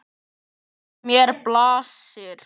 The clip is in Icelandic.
Við mér blasir.